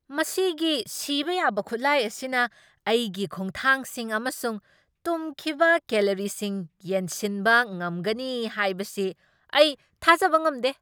ꯃꯁꯤꯒꯤ ꯁꯤꯕ ꯌꯥꯕ ꯈꯨꯠꯂꯥꯏ ꯑꯁꯤꯅ ꯑꯩꯒꯤ ꯈꯣꯡꯊꯥꯡꯁꯤꯡ ꯑꯃꯁꯨꯡ ꯇꯨꯝꯈꯤꯕ ꯀꯦꯂꯣꯔꯤꯁꯤꯡ ꯌꯦꯡꯁꯤꯟꯕ ꯉꯝꯒꯅꯤ ꯍꯥꯏꯕꯁꯤ ꯑꯩ ꯊꯥꯖꯕ ꯉꯝꯗꯦ ꯫